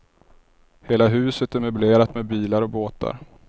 Hela huset är möblerat med bilar och båtar.